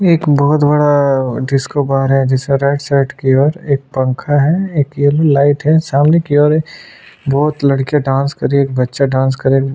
एक बहुत बड़ा डिस्को बार है जिसके राइट की और एक पंखा है एक लाइट है सामने की ओर और बहुत लड़कियाँ डांस कर रही है एक बच्चा डांस कर रहा है।